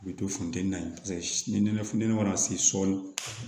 U bɛ to funteni na paseke ni nɛnɛ funtɛni mana se sɔli